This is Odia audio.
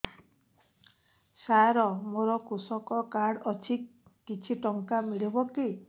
ସାର ମୋର୍ କୃଷକ କାର୍ଡ ଅଛି କିଛି ଟଙ୍କା ମିଳିବ କି